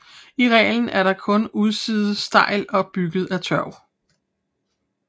I reglen er kun udsiden stejl og bygget af tørv